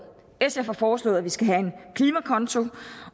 sf har foreslået at vi skal have en klimakonto